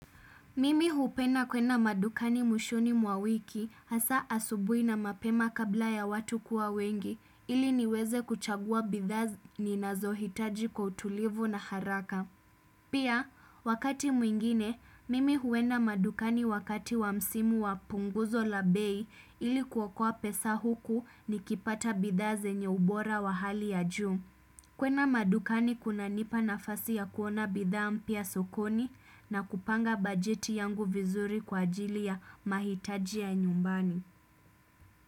Mimi hupenda kwenda madukani mwishoni mwa wiki hasa asubuhi na mapema kabla ya watu kuwa wengi ili niweze kuchagua bidhaa ninazohitaji kwa utulivu na haraka. Pia, wakati mwingine, mimi huenda madukani wakati wa msimu wa punguzo la bei ili kuokoa pesa huku nikipata bidhaa zenye ubora wa hali ya juu. Kwenda madukani kunanipa nafasi ya kuona bidhaa mpya sokoni na kupanga bajeti yangu vizuri kwa ajili ya mahitaji ya nyumbani.